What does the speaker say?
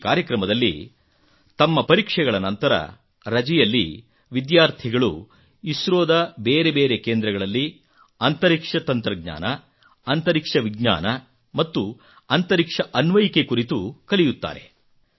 ಈ ಕಾರ್ಯಕ್ರಮದಲ್ಲಿ ತಮ್ಮ ಪರೀಕ್ಷೆಗಳ ನಂತರ ರಜೆಯಲ್ಲಿ ವಿದ್ಯಾರ್ಥಿಗಳು ಇಸ್ರೋದ ಬೇರೆ ಬೇರೆ ಕೇಂದ್ರಗಳಲ್ಲಿ ಅಂತರಿಕ್ಷ ತಂತ್ರಜ್ಞಾನ ಅಂತರಿಕ್ಷ ವಿಜ್ಞಾನ ಮತ್ತು ಅಂತರಿಕ್ಷ ಅನ್ವಯಿಕೆ ಕುರಿತು ಕಲಿಯುತ್ತಾರೆ